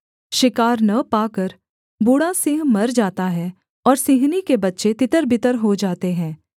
शिकार न पाकर बूढ़ा सिंह मर जाता है और सिंहनी के बच्चे तितर बितर हो जाते हैं